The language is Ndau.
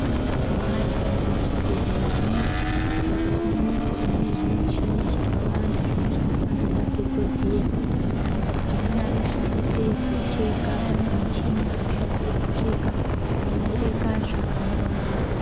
Eya tikaenda muchibhedhleramo tinowone kuti mune zvimichini zvakawanda zvinoshandiswa ngemadhokodheya , amweni anoshandisa kucheka pane michini inoshandiswe kucheka inocheka zvakanaka.